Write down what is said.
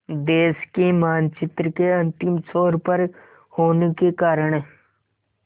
देश के मानचित्र के अंतिम छोर पर होने के कारण